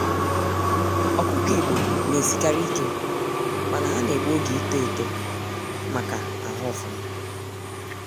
Ọkụkọ igbo na esikarị ike, mana ha na-egbu oge ịto eto ma ka ahụ ofụma.